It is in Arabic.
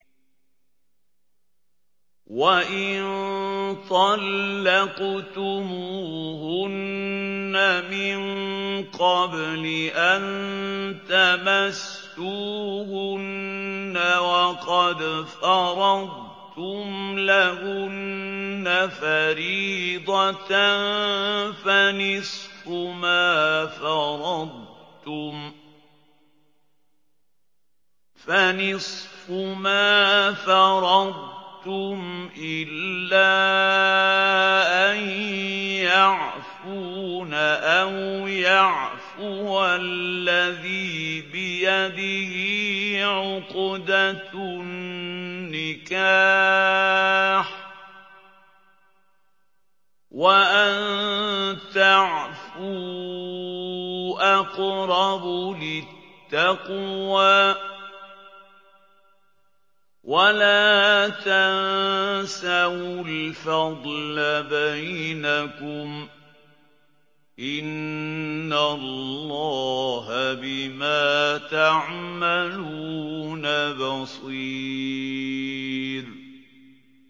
وَإِن طَلَّقْتُمُوهُنَّ مِن قَبْلِ أَن تَمَسُّوهُنَّ وَقَدْ فَرَضْتُمْ لَهُنَّ فَرِيضَةً فَنِصْفُ مَا فَرَضْتُمْ إِلَّا أَن يَعْفُونَ أَوْ يَعْفُوَ الَّذِي بِيَدِهِ عُقْدَةُ النِّكَاحِ ۚ وَأَن تَعْفُوا أَقْرَبُ لِلتَّقْوَىٰ ۚ وَلَا تَنسَوُا الْفَضْلَ بَيْنَكُمْ ۚ إِنَّ اللَّهَ بِمَا تَعْمَلُونَ بَصِيرٌ